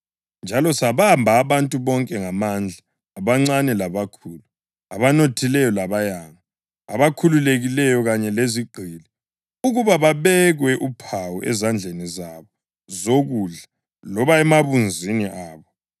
Njalo sabamba abantu bonke ngamandla, abancane labakhulu, abanothileyo labayanga, abakhululekileyo kanye lezigqili ukuba babekwe uphawu ezandleni zabo zokudla loba emabunzini abo